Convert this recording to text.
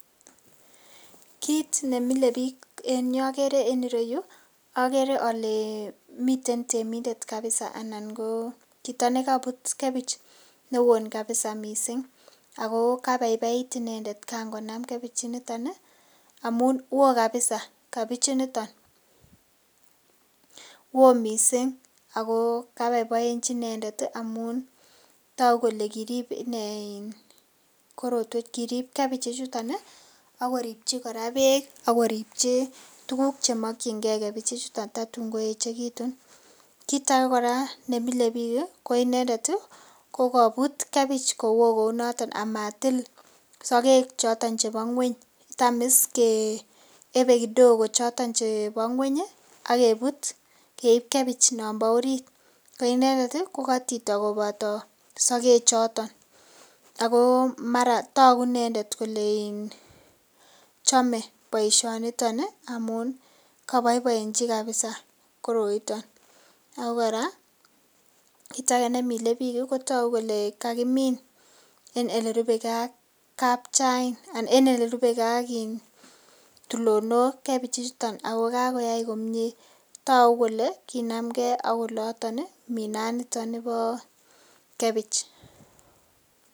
Kit ne mile biik ne ogere en ireyu ogere ole miten temindet kapisa anan ko chito ne kobut kebich ne won kapisa mising, ago kabaibait inendet kangonam kebich initon amun wo kapisa kebich initon, woo mising ago ko boiboenchi inendet amun togu kole kirip kebich ichuton ak ko ripchi kora beek, ak koripchi tuugk che mokinge kebich ichuto totun koechegitun. Kit age kora nemile biik ko inendet ko kobut kebich kowoo kou noto amatil sogek choto chebo ng'weny. Tam iss keyebe kidogoo choton chebo ng'weny ak kebut keib kebich non bo orit. Ko inendet ko kotito koboto sogek choto ago togu inendet kole chome boiisionito amun kaboiboienchi kapisa koroito ago kora kit age ne imile biik kotogu kole kagimin en ele rupeke ak kapchain en ele rupe ke ak tulonok. Kebich ichuton ago kagoyai komie, togu kole kinamke ak oloton minanito nibo kebich.